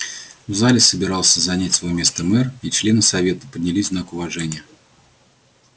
в зале собирался занять своё место мэр и члены совета поднялись в знак уважения